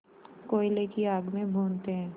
कोयले की आग में भूनते हैं